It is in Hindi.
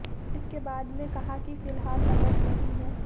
इसके बाद में कहा कि फिलहाल नकद नहीं है